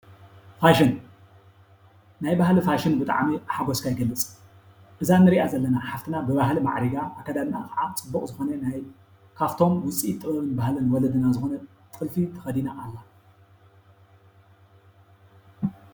ፋሽን ናይ ባህሊ ፋሽን ብጣዕሚ ሓጎስካ ይገልፅ። እዛ እንርእያ ዘለና ሓፍትና ብባህሊ ማዕሪጋ ኣከዳድናኣ ከዓ ፅቡቅ ዝኮነ ናይ ካብቶም ውፅኢት ናይ ባህልን መለለይን ዝኮኑ ጥልፊ ተከዲና ኣላ።